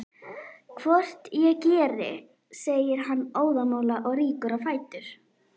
Hvort ég geri, segir hann óðamála og rýkur á fætur.